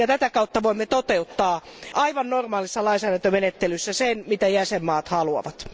Tätä kautta voimme toteuttaa aivan normaalissa lainsäädäntömenettelyssä sen, mitä jäsenvaltiot haluavat.